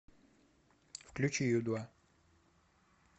включи ю два